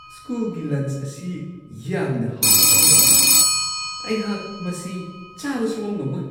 ꯁ꯭ꯀꯨꯜꯒꯤ ꯂꯟꯆ ꯑꯁꯤ ꯌꯥꯝꯅ ꯍꯥꯎꯔꯝꯒꯗꯕ ꯃꯥꯟꯗꯦ; ꯑꯩꯍꯥꯛ ꯃꯁꯤ ꯆꯥꯕ ꯁꯨꯛꯉꯝ-ꯉꯝꯃꯣꯏ ꯫